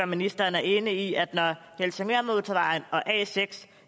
ministeren er enig i at når helsingørmotorvejen og a seks